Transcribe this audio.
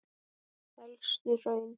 Elstu hraun